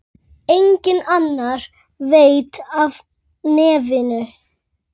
Enginn annar veit af nefinu.